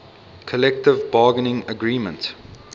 collective bargaining agreement